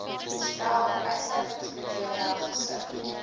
stel uitsluitingskriteria gesif